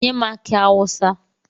Nye m aki awusa!